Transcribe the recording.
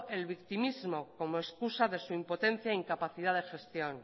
el victimismo como excusa de su impotencia e incapacidad de gestión